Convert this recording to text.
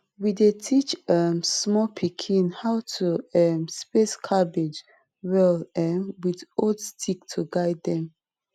we dey teach um small pikin hoiw to um space cabbage well um with old stick to guide dem